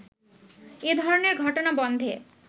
এ ধরণের ঘটনা বন্ধে